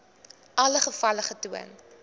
alle gevalle getoon